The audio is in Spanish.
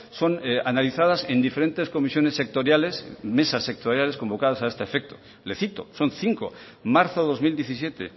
son analizadas en diferentes comisiones sectoriales mesas sectoriales convocadas a este efecto le cito son cinco marzo dos mil diecisiete